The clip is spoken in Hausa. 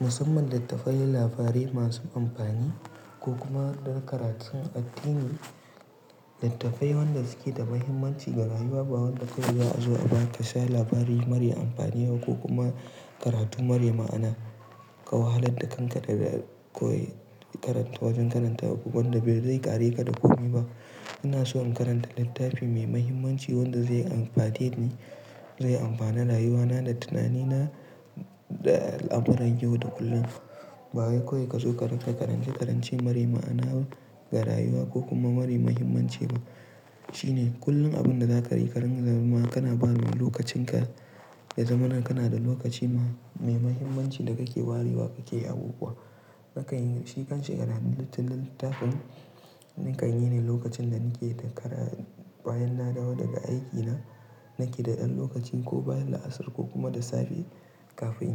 musamman littafai na labarai masu amfani ko kuma na karatun addini. Littafai waɗanda suke da mahimmanci ga rayuwa, ba waɗanda kawai za a zo a ba ka sha labari marar amfani ko kuma karatu marai ma'ana. Ka wahalar da kanka da ba kawai ya karanta wajen karanta wanda bai zai ƙare ka da komi ba. Ina so in karanta littafi mai mahimmanci wanda zai amfate ni, zai amfani rayuwana da tunanina da amuran yau da kullum. Ba wai kawai ka zo ka karanta karanci karanci marai ma'ana ga rayuwa ko kuma marai mahimmanci ba. Shi ne kullum abin da za ka yi kanazama kana ba wa lokacinka. Yazamana kana da lokaci mai mahimmanci da kake warewa kake abubuwa. Nakan yi, shi kanshi karatun littafin, ni kan yi ne lokacin da nake da kara bayan na dawo daga aikina. Nake da ɗan lokaci ko bayan la'asar ko kuma da safe kafin